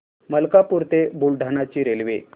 मलकापूर ते बुलढाणा ची रेल्वे